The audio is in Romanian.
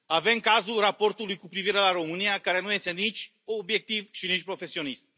Avem cazul raportului cu privire la România care nu este nici obiectiv, și nici profesionist.